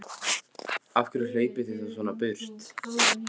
Af hverju hlaupið þið þá svona í burtu?